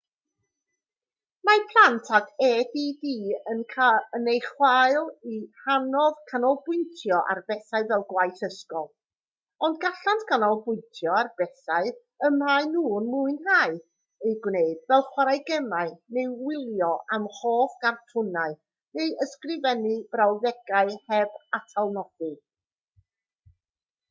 mae plant ag add yn ei chael hi'n anodd canolbwyntio ar bethau fel gwaith ysgol ond gallant ganolbwyntio ar bethau y maen nhw'n mwynhau eu gwneud fel chwarae gemau neu wylio eu hoff gartwnau neu ysgrifennu brawddegau heb atalnodi